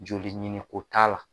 Joli ɲini ko t'a la.